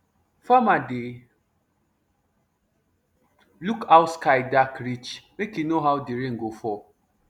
farmer dey look how sky dark reach make e know how the rain go fall